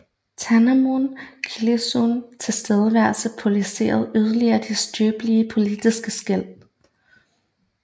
Thanom Kittikachorn tilstedeværelse polariserede yderligere de skrøbelige politiske skel